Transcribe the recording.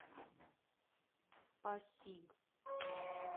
пасиг